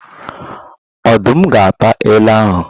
Odum ga ata ele ahụ.